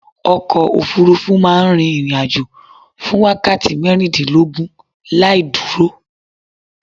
Ọkọ̀ òfurufú rufú ma n rin ìrìn ajo fún wákàti mérìndínlógún laìdúró